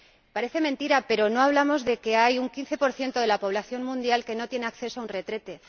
Parece mentira, pero no hablamos de que hay un 15 de la población mundial que no tiene acceso a un retrete